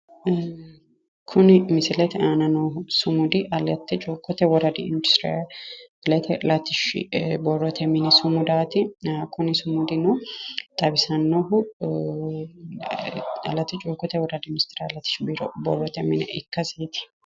kuni misilete aana noo sumudi aletta cuukkote woradi industiraalete borrote mini sumudaati ee kuni sumudino xawisannohu aletta cuukkote woradi industiraalete borrote mine ikkasiiti.